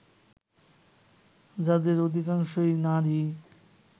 যাদের অধিকাংশই নারী